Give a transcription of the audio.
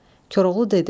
Koroğlu dedi.